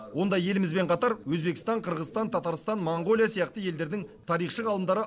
онда елімізбен қатар өзбекстан қырғызстан татарстан моңғолия сияқты елдердің тарихшы ғалымдары